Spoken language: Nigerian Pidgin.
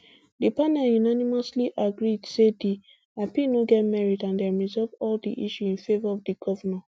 di panel unanimously agree say di appeal no get merit and dem resolve all di issues in favour of di govnor